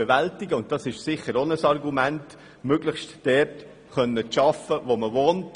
Dies ist ebenfalls ein Argument dafür, möglichst dort zu arbeiten, wo man wohnt.